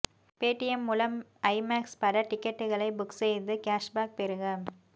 Paytm மூலம் IMAX பட டிக்கெட்டுகளை புக் செய்து கேஷ்பேக் பெறுக